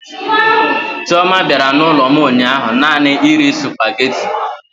Chioma bịara n'ụlọ m ụnyaahụ naanị iri sụpaghetị.